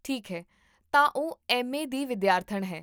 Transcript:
ਠੀਕ ਹੈ, ਤਾਂ ਉਹ ਐੱਮ ਏ ਦੀ ਵਿਦਿਆਰਥਣ ਹੈ